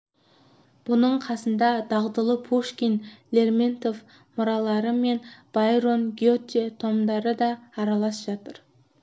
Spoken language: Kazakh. бұның қасында дағдылы пушкин лермонтов мұралары мен байрон гете томдары да аралас жатыр